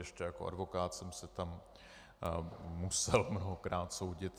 Ještě jako advokát jsem se tam musel mnohokrát soudit.